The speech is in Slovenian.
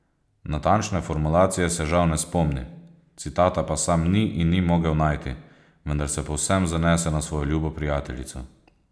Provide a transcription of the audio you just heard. Natančne formulacije se žal ne spomni, citata pa sam ni in ni mogel najti, vendar se povsem zanese na svojo ljubo prijateljico.